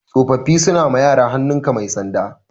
Tsofaffi suna ma yara hannun ka mai sanda